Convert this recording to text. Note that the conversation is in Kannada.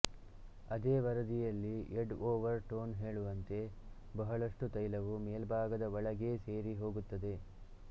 ಅದೇ ವರದಿಯಲ್ಲಿ ಎಡ್ ಒವರ್ ಟೊನ್ ಹೇಳುವಂತೆ ಬಹಳಷ್ಟು ತೈಲವು ಮೇಲ್ಭಾಗದ ಒಳಗೇ ಸೇರಿ ಹೋಗುತ್ತದೆ